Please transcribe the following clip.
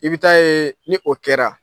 I bɛ taa ye ni o kɛra